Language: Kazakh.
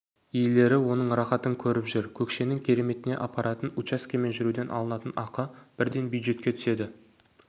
иелері оның рақатын көріп жүр көкшенің кереметіне апарар учаскемен жүруден алынатын ақы бірден бюджетке түседі